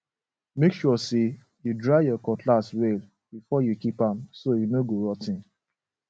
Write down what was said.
make sure say you dry your cutlass well before you keep am so e no go rot ten